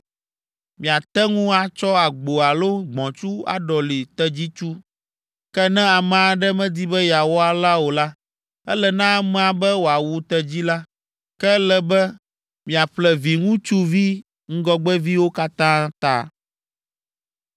Miate ŋu atsɔ agbo alo gbɔ̃tsu aɖɔli tedzitsu. Ke ne ame aɖe medi be yeawɔ alea o la, ele na amea be wòawu tedzi la. Ke ele be miaƒle viŋutsuvi ŋgɔgbeviwo katã ta.